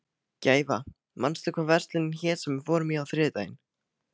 Gæfa, manstu hvað verslunin hét sem við fórum í á þriðjudaginn?